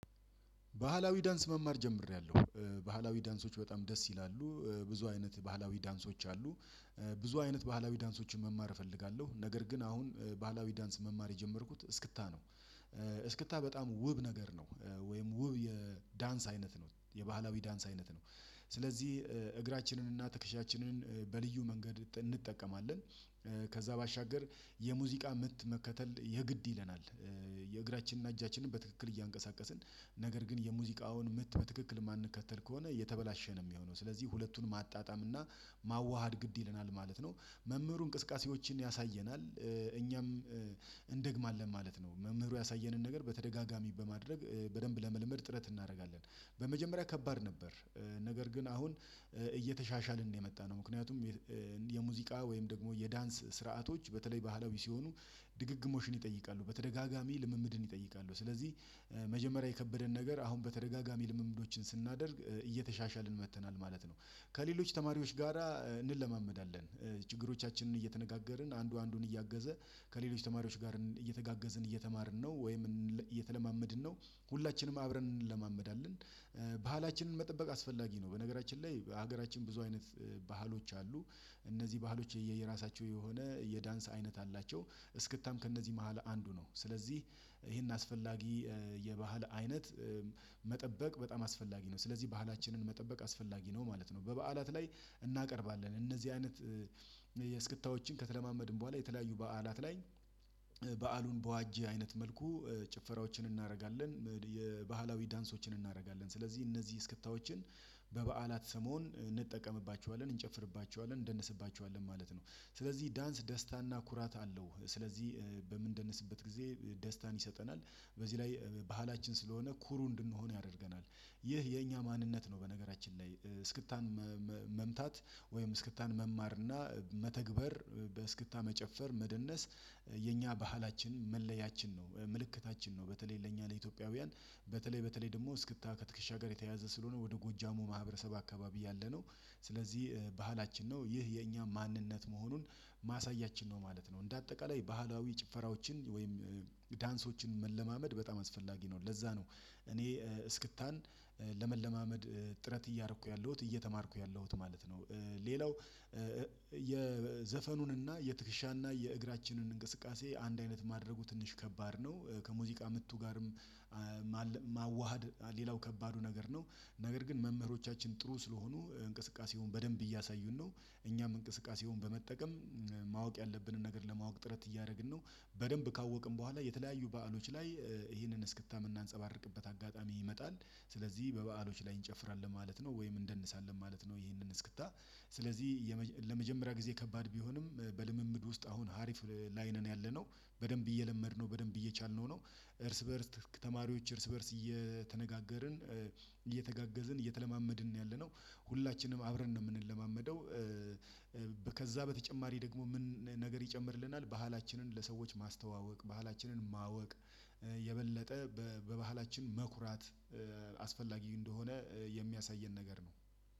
ባህላዊ ዳንስ መማር ጀምሬያለሁ። ባህላዊ ዳንሶች በጣም ደስ ይላሉ። ብዙ አይነት ባህላዊ ዳንሶች አሉ። ብዙ አይነት ባህላዊ ዳንሶችን መማር እፈልጋለሁ ነገር ግን አሁን ባህላዊ ዳንስን መማር የጀመርኩት እስክታ ነው። እስክታ በጣም ውብ ነገር ነው ወይም ውብ የዳንስ አይነት ነው የባህላዊ ዳንስ አይነት ነው። እግራችንን እና ትከሻችንን በልዩ መንገድ እንጠቀማለን። ከዛ ባሻገር የሙዚቃ ምት መከተል የግድ ይለናል። የእግራችን እና እጃችንን በትክክል እያንቀሳቀስን ነገር ግን የሙዚቃውን ምት በትክክል የማንከተል ከሆነ የተበላሸ ነው የሚሆነው ስለዚህ ሁለቱን ማጣጣም እና ማዋሃድ ግድ ይለናል ማለት ነው። መምህሩ እንቅስቃሴዎችን ያሳየናል። እኛም እንደግማለን ማለት ነው መምህሩ ያሳየንን ነገር በተደጋጋሚ በማድረግ በደንብ ለመልመድ ጥረት እናደርጋለን። በመጀመሪያ ከባድ ነበር። ነገር ግን አሁን እየተሻሻልን ነው የመጣነው ምክንያቱም። የሙዚቃ ወይም ደግሞ የዳንስ ስርዓቶች በተለይ ባህላዊ ሲሆኑ ድግግሞሽን ይጠይቃሉ በተደጋጋሚ ልምምድን ይጠይቃሉ ስለዚህ መጀመሪያ የከበደን ነገር አሁን በተደጋጋሚ ልምምዶችን ስናደርግ እየተሻሻልን መጥተናል ማለት ነው። ከሌሎች ተማሪዎች ጋራ እንለማመዳለን ችግሮቻችንን እየተነጋገርን አንዱ አንዱን እያገዘ ከሌሎች ተማሪዎች ጋር እየተጋገዝን እየተማርን ነው። ወይም እየተለማመድን ነው። ሁላችንም አብረን እንለማመዳለን። ባህላችንን መጠበቅ አስፈላጊ ነው። በነገራችን ላይ ሀገራችን ብዙ አይነት ባህሎች አሉ። እነዚህ ባህሎች የየራሳቸው የሆነ የዳንስ አይነት አላቸው። እስክታም ከእነዚህ መሃል አንዱ ነው ስለዚህ ይሄን አስፈላጊ የባህል አይነት መጠበቅ በጣም አስፈላጊ ነው። ስለዚህ ባህላችንን መጠበቅ አስፈላጊ ነው ማለት ነው። በበዓላት ላይ እናቀርባለን እነዚህ አይነት የእስክታዎችን ከተለማመድን በኋላ የተለያዩ በዓላት ላይ በዓሉን በዋጀ አይነት መልኩ ጭፈራዎችን እናደርጋለን። የባህላዊ ዳንሶችን እናደርጋለን ስለዚህ እነዚህ እስክታዎችን በበዓላት ሰሞን እንጠቀምባቸዋለን እንጨፍርባቸዋለን እንደንስባቸዋለን ማለት ነው። ስለዚህ ዳንስ ደስታ እና ኩራት አለው። ስለዚህ በምንደንስበት ጊዜ ደስታን ይሰጠናል። በዚህ ላይ ባህላችን ስለሆነ ኩሩ እንድንሆን ያደርገናል። ይህ የኛ ማንነት ነው። በነገራችን ላይ እስክታን መምታት ወይም እስክታን መማር እና መተግበር በእስክታ መጨፈር መደነስ የኛ ባህላችን መለያችን ነው። ምልክታችን ነው። በተለይ ለእኛ ለኢትዮጵያውያን በተለይ በተለይ ደግሞ እስክታ ከትክሻ ጋር የተያያዘ ስለሆነ ወደ ጎጃሙ ማህበረሰብ አካባቢ ያለነው ስለዚህ ባህላችን ነው። ይህ የእኛ ማንነት መሆኑን ማሳያችን ነው ማለት ነው። እንደ አጠቃላይ ባህላዊ ጭፈራዎችን ወይም ዳንሶችን መለማመድ በጣም አስፈላጊ ነው። ለዛ ነው እኔ እስክታን ለመለማመድ ጥረት እያረኩ ያለሁት እየተማርኩ ያለሁት ማለት ነው። ሌላው የዘፈኑን እና የትክሻ እና የእግራችንን እንቅስቃሴ አንድ አይነት ማድረጉ ትንሽ ከባድ ነው። ከሙዚቃ ምቱ ጋርም ማዋሃድ ሌላው ከባዱ ነገር ነው። ነገር ግን መምህሮቻችን ጥሩ ስለሆኑ እንቅስቃሴውን በደንብ እያሳዩን ነው። እኛም እንቅስቃሴውን በመጠቀም ማወቅ ያለብንን ነገር ለማወቅ ጥረት እያደረግን ነው። በደንብ ካወቅን በኋላ የተለያዩ በዓሎች ላይ ይሄንን እስክታ ምናንጸባረቅበት አጋጣሚ ይመጣል። ስለዚህ በበዓሎች ላይ እንጨፍራለን ማለት ነው ወይም እንደንሳለን ማለት ነው። ይሄንን እስክታ ስለዚህ ለመጀመሪያ ጊዜ ከባድ ቢሆንም በልምምድ ውስጥ አሁን አሪፍ ላይ ነን ያለነው በደንብ እየለመድነው በደንብ እየቻልነው ነው። እርስ በእርስ ተማሪዎች እርስ በእርስ እየተነጋገርን እየተጋገዝን እየተለማመድን ነው ያለነው ሁላችንም አብረን ነው የምንለማመደው። ከዛ በተጨማሪ ደግሞ ምን? ነገር ይጨምርልናል ባህላችንን ለሰዎች ማስተዋወቅ ባህላችንን ማወቅ የበለጠ በባህላችን መኩራት አስፈላጊ እንደሆነ የሚያሳየን ነገር ነው።